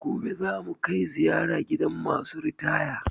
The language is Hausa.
Gobe za mu kai ziyara gidan ma su ritaya